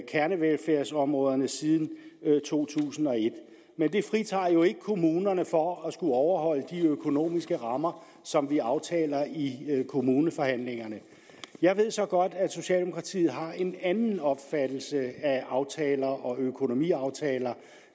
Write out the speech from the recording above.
kernevelfærdsområderne siden to tusind og et men det fritager jo ikke kommunerne for at skulle overholde de økonomiske rammer som vi aftaler i kommuneforhandlingerne jeg ved så godt at socialdemokratiet har en anden opfattelse af aftaler generelt og økonomiaftaler